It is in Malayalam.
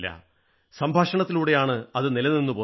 സംഭാഷണത്തിലൂടെയാണ് അത് നിലനിന്നുപോന്നത്